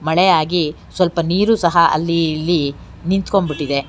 ಮಳೆಯಾಗಿ ಸ್ವಲ್ಪ ನೀರು ಸಹ ಅಲ್ಲಿ ಇಲ್ಲಿ ನಿಂತ್ಕೊಂಬಿಟ್ಟಿದೆ.